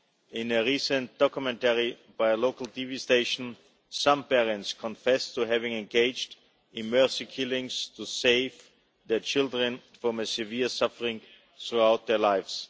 In a recent documentary by a local TV station, some parents confessed to having engaged in mercy killings to save their children from severe suffering throughout their lives.